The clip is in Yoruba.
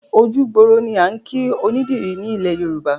Ojú gbòòrò ni à ń kìí onídìrì ni ilẹ̀ Yorùbá.